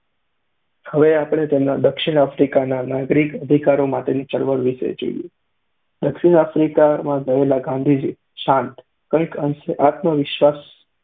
હવે આપણે તેમના દક્ષિણ આફ્રિકાના નાગરિક અધિકારો માટેની ચળવળ વિષે જોઈએ. દક્ષિણ આફ્રિકા ગયેલા ગાંધીજી, શાંત, કંઈક અંશે આત્મવિશ્વાસ